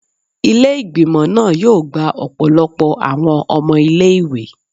Ile-igbimọ naa yoo gba ọpọlọpọ awọn ọmọ ile-iwe